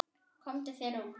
Komdu þér út.